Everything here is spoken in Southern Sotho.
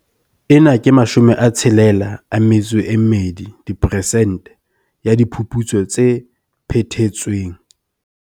Ena ke 62 diperesente ya diphuputso tse phethetsweng.